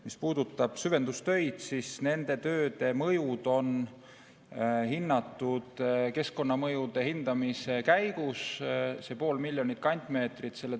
Mis puudutab süvendustöid, siis nende mõjud on hinnatud keskkonnamõjude hindamise käigus, see pool miljonit kantmeetrit.